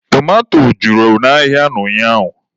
Tomato juru n'ahịa ụnyaahụ